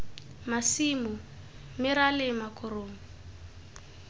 masimo mme ra lema korong